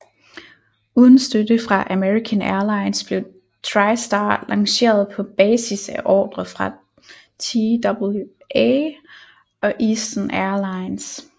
Uden støtte fra American Airlines blev TriStar lanceret på basis af ordrer fra TWA og Eastern Air Lines